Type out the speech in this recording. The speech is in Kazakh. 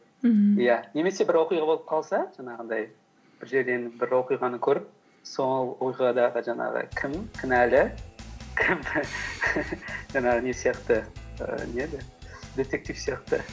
мхм иә немесе бір оқиға болып қалса жаңағындай бір жерден бір оқиғаны көріп сол оқиғада жаңағы кім кінәлі кім жаңағы не сияқты ііі не еді детектив сияқты